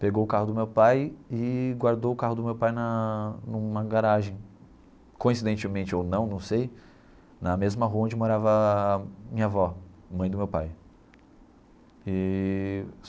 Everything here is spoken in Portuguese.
Pegou o carro do meu pai e guardou o carro do meu pai na numa garagem, coincidentemente ou não, não sei, na mesma rua onde morava a minha avó, mãe do meu pai eee